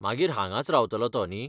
मागीर हांगांच रावतलो तो, न्ही?